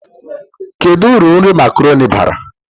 Kedu uru nri makaroni bara?